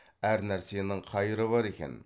әр нәрсенің қайыры бар екен